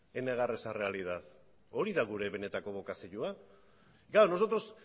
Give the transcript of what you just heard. en negar esa realidad hori da gure benetako bokazioa claro nosotros